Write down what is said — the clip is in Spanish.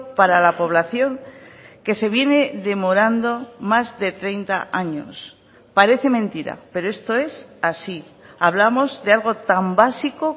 para la población que se viene demorando más de treinta años parece mentira pero esto es así hablamos de algo tan básico